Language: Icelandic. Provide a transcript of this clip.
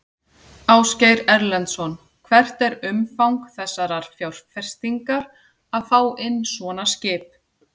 Ásgeir Erlendsson: Hvert er umfang þessarar fjárfestingar að fá inn svona skip?